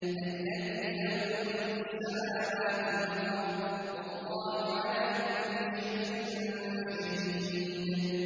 الَّذِي لَهُ مُلْكُ السَّمَاوَاتِ وَالْأَرْضِ ۚ وَاللَّهُ عَلَىٰ كُلِّ شَيْءٍ شَهِيدٌ